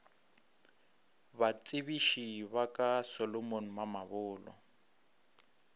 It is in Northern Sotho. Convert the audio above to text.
batsebiši ba ka solomon mamabolo